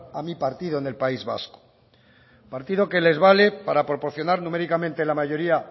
a mi partido en el país vasco partido que les vale para proporcionar numéricamente la mayoría